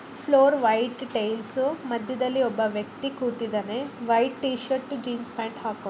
Floor white tiles ಮಧ್ಯದಲ್ಲಿ ಒಬ್ಬ ವ್ಯಕ್ತಿ ಕೂತಿದ್ದಾನೆ white T shirt jeans pant ಹಾಕೊಂಡು.